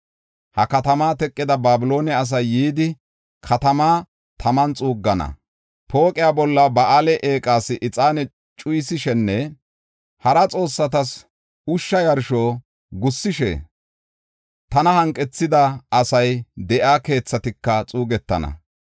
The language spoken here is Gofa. Ha katama teqida Babiloone asay yidi, katamaa taman xuuggana; pooqiya bolla Ba7aale eeqas ixaane cuyisishenne hara xoossatas ushsha yarsho gussishe tana hanqethida asay de7iya keethatika xuugetana.